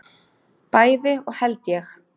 Bæði og held ég.